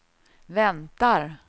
väntar